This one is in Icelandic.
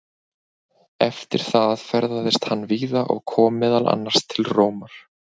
Eftir það ferðaðist hann víða og kom meðal annars til Rómar.